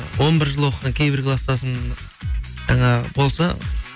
он бір жыл оқыған кейбір класстасым жаңағы болса